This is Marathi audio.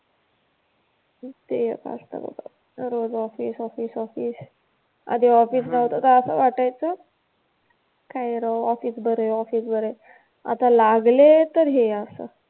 ते एक असतं बाबा. रोज ऑफिस ऑफिस ऑफिस आधी ऑफिस नव्हतं तर असं वाटायचं, काय करावं ऑफिस बरंय ऑफिस बरंय. आता लागले तर हे असं.